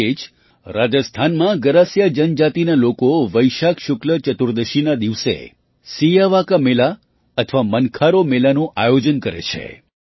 આ રીતે રાજસ્થાનમાં ગરાસિયા જનજાતિના લોકો વૈશાખ શુક્લ ચતુર્દશીના દિને સિયાવા કા મેલા અથવા મનખાં રો મેલાનું આયોજન કરે છે